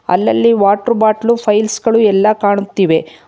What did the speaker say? ಅಲ್ಲಲ್ಲಿ water bottle piles ಗಳು ಎಲ್ಲಾ ಕಾಣುತ್ತಿವೆ.